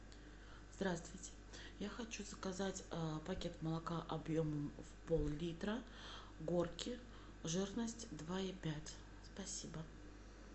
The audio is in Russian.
здравствуйте я хочу заказать пакет молока объемом в пол литра горки жирность два и пять спасибо